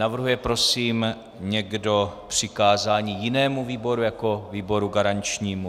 Navrhuje prosím někdo přikázání jinému výboru jako výboru garančnímu?